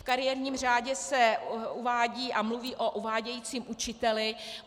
V kariérním řádě se uvádí a mluví o uvádějícím učiteli.